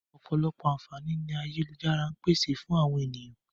Ọ̀pọ̀lọpọ̀ àǹfààní ni ayélujára ń pèsè fún àwọn ènìyàn